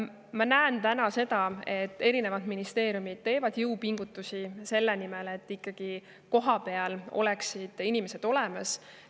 Ma näen täna seda, et erinevad ministeeriumid teevad jõupingutusi selle nimel, et kohapeal oleksid inimesed olemas.